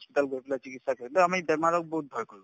hospital গৈ পেলাই চিকিৎসা কৰিম আমি বেমাৰক বহুত ভয় কৰো